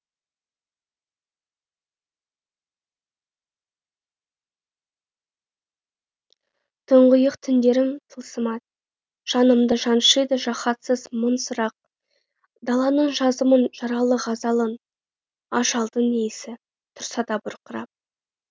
тұңғиық түндерім тылсымат жанымды жаншыйды жаһатсыз мың сұрақ даланың жазамын жаралы ғазалын ажалдың иісі тұрса да бұрқырап